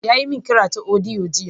Ya yi min kira ta audio jiya.